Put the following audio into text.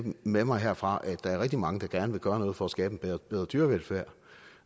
med mig herfra at der er rigtig mange der gerne vil gøre noget for at skabe en bedre bedre dyrevelfærd